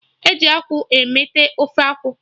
Eji akwụ emeta Ofe akwụ